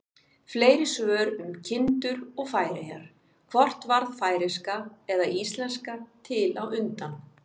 Fleiri svör um kindur og Færeyjar: Hvort varð færeyska eða íslenska til á undan?